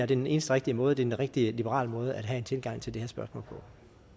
den eneste rigtige måde det er en rigtig liberal måde at have en tilgang til det her spørgsmål på